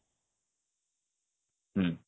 ହୁଁ